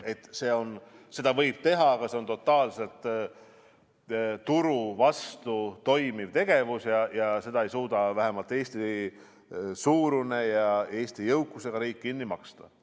Jah, põlevkivi võib kasutada, aga see on totaalselt turu vastu toimiv tegevus ja seda ei suuda vähemalt Eesti-suurune ja Eesti jõukusega riik kinni maksta.